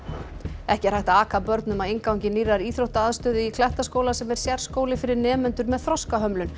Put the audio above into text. ekki er hægt að aka börnum að inngangi nýrrar íþróttaaðstöðu í Klettaskóla sem er sérskóli fyrir nemendur með þroskahömlun